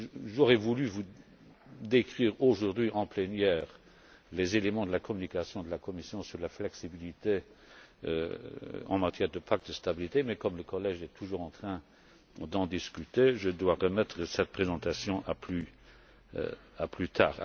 J'aurais voulu vous décrire, aujourd'hui, en plénière les éléments de la communication de la Commission sur la flexibilité en matière de pacte de stabilité mais comme le collège est toujours en train d'en discuter, je dois remettre cette présentation à plus tard.